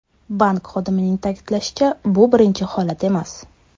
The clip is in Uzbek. Bank xodimining ta’kidlashicha, bu birinchi holat emas.